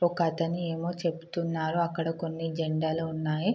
ఒకతను ఏమో చెప్తున్నాడు అక్కడ కొన్ని జెండాలు ఉన్నాయి.